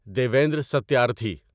Devendra Satyarthi